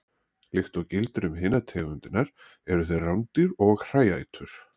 Líkt og gildir um hinar tegundirnar eru þeir rándýr og hræætur.